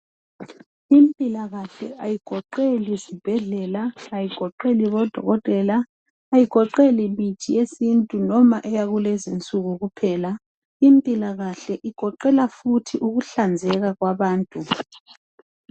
impilakahle ayigoqeli zibhedlela ayigoqeli bodokotela ayigoqeli mithi yesintu noma eyakulezinsuku kuphela impilakahle igoqela futhi ukuhlanzeka kwabantu